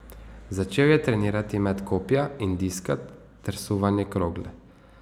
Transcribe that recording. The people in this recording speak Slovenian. Začel je trenirati met kopja in diska ter suvanje krogle.